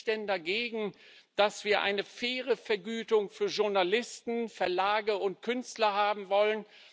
Was spricht denn dagegen, dass wir eine faire Vergütung für Journalisten, Verlage und Künstler haben wollen?